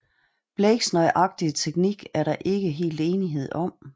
Blakes nøjagtige teknik er der ikke helt enighed om